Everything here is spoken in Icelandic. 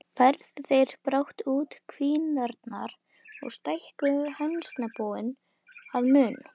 Færðu þeir brátt út kvíarnar og stækkuðu hænsnabúið að mun.